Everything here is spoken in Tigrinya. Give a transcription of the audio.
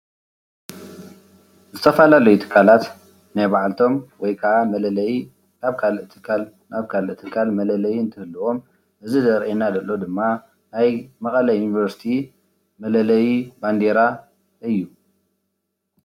ዝተፈላለዩ ትካላት ናይ ባዕልቶም መለለይ ናብ ካሊእ ትካል ናብ ካሊእ ትካለ መለለዪ እንትህሉ እዙይ ዝርአየና ዘሎ ድማ ናይ መቐለ ዩኒቨርሲቲ መለለዪ ባንዴራ እዩ።